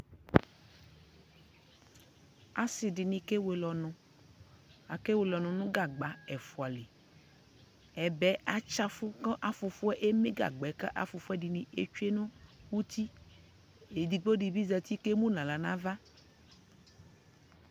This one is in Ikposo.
Asi dini kɛ wele ɔnu Aka wele nu gagba ɛfua liƐbɛ atsa y fu ka afufu ɛmɛ gagba ku afufu dini ɛtsue nu utiƐdigbo di bi zati kɛ mu na ɣla na va